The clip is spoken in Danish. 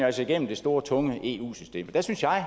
altså igennem det store tunge eu system der synes jeg